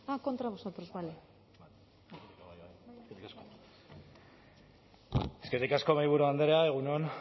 de voto ah contra vosotros vale eskerrik asko mahaiburu andrea egun on